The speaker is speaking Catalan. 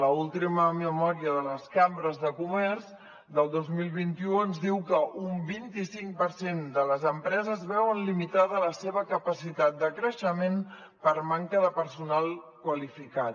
l’última memòria de les cambres de comerç del dos mil vint u ens diu que un vint i cinc per cent de les empreses veuen limitada la seva capacitat de creixement per manca de personal qualificat